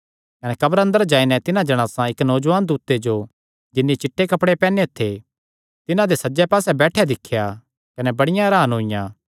कने कब्रा अंदर जाई नैं तिन्हां जणासां इक्क नौजुआन दूते जो जिन्नी चिट्टे कपड़े पैहनेयो थे सज्जे पास्से बैठेयो दिख्या कने बड़ियां हरान होईयां